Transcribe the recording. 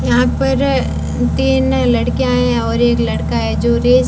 यहां पर अ तीन लड़कियां हैं और एक लड़का है जो रेस--